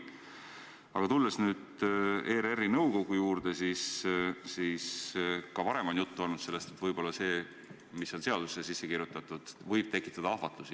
Aga tulles ERR-i nõukogu juurde, siis ka varem on juttu olnud sellest, et see, mis on seadusesse sisse kirjutatud, võib tekitada ahvatlusi.